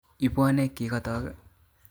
Ibwone kikotok